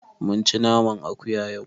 Mun ci naman akuya yau.